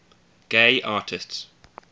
gay artists